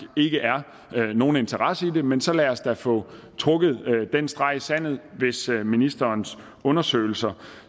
ikke er nogen interesse i det men så lad os da få trukket en streg i sandet med ministerens undersøgelser